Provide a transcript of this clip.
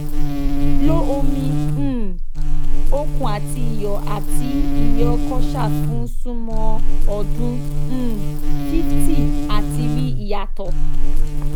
lo omi um okun ati iyo ati iyo kosher fun sumo odun um 50 ati ri iyato